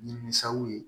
Nimisaw ye